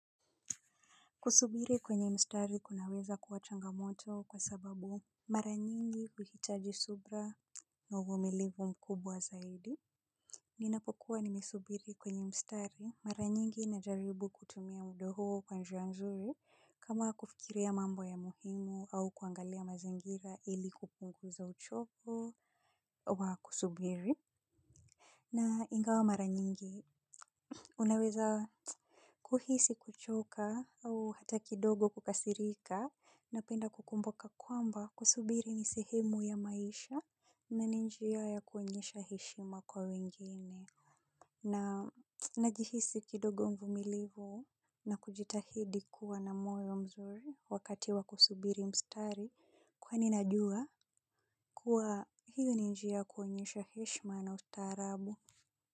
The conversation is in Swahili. Kusubiri kwenye mstari kunaweza kuwa changamoto kwa sababu mara nyingi huhitaji subra nauvumilivu mkubwa zaidi. Ninapokuwa nimesubiri kwenye mstari mara nyingi na jaribu kutumia mudahuo kwa njia nzuri kama kufikiria mambo ya muhimu au kuangalia mazingira ili kupunguza uchovu wa kusubiri. Na ingawa mara nyingi unaweza kuhisi kuchoka au hata kidogo kukasirika na penda kukumbuka kwamba kusubiri nisehemu ya maisha na ninjia ya kuonyesha heshima kwa wengine na najihisi kidogo mvumilivu na kujitahidi kuwa namoyo mzuri wakati wa kusubiri mstari kwa ninajua kuwa hiyo ninjia kuonyesha heshima na ustarabu.